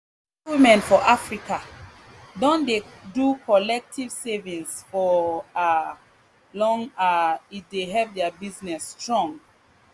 market women for africa don dey do collective savings for um long um e dey help their business strong